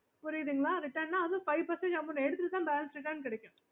புரியுதுங்களா அதுவும் return ன்ன five percentage amount எடுத்துட்டு தன் balance return கிடைக்கும்